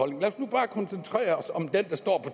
men lad os nu bare koncentrere os om den der står på